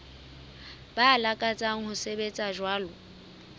ba lakatsang ho sebetsa jwalo